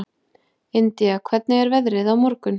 Indía, hvernig er veðrið á morgun?